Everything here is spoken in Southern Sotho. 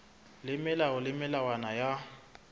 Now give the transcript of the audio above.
le melao le melawana ya